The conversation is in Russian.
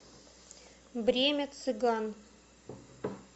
время цыган